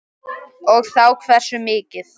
Og þá hversu mikið.